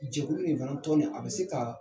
Jɛkulu in fana ye tɔn ne, a bi se ka